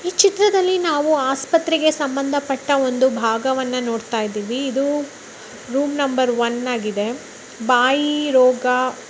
ಈ ಚಿತ್ರದಲ್ಲಿ ನಾವು ಆಸ್ಪತ್ರೆಗೆ ಸಂಬಂಧಪಟ್ಟ ಒಂದು ಭಾಗವನ್ನು ನೋಡತ್ತಾ ಇದ್ದಿವಿ ಇದು ರೂಮ್ ನಂಬರ್ ಒನ್ ಆಗಿದೆ ಬಾಯಿ ರೋಗ--